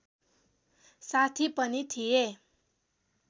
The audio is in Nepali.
साथी पनि थिए